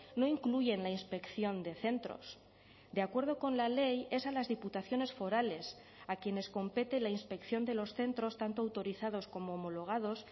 no incluyen la inspección de centros de acuerdo con la ley es a las diputaciones forales a quienes compete la inspección de los centros tanto autorizados como homologados